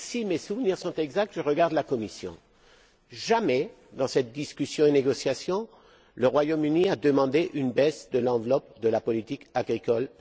Si mes souvenirs sont exacts je regarde la Commission jamais dans cette discussion et négociation, le Royaume Uni n'a demandé une baisse de son enveloppe dans le cadre de la politique agricole.